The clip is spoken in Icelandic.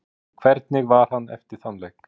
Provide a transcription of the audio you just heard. En hvernig var hann eftir þann leik?